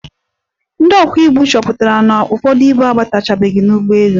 Ndị ọkwọ ibu chọpụtara na ụfọdụ ibu abatachabeghi n'ụgbọelu.